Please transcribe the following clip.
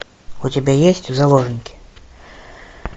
у тебя есть заложники